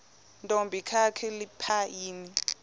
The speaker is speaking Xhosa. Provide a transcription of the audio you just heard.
ntombi kakhalipha yini